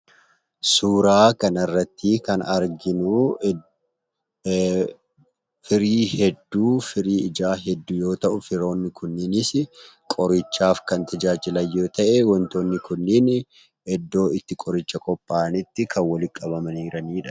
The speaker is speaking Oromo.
Suuraa kanarratti kan arginuu, firii ijaa hedduu yoo ta'u, firiiwwan kunneenis qorichaaf kan tajaajilan yoo ta'e, wantootni kunneen iddoo qorichi itti qophaa'utti walitti qabamanii kanneen jiraniidha.